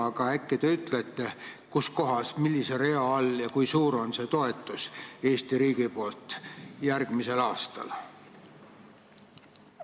Aga äkki te ütlete, kus kohas, millise rea all see Eesti riigi antav toetus on ja kui suur see järgmisel aastal on?